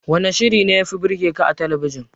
Wanne shirin da yafi burgeka a talabijin?